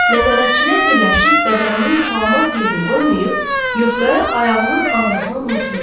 Nəzarətçilər birləşib bədəninin salamat yerini qoymayıb, Yosqaya ayağının ağrısını unutdurdular.